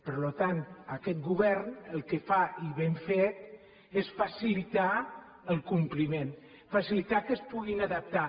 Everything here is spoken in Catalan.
per tant aquest govern el que fa i ben fet és facilitar el compliment facilitar que es puguin adaptar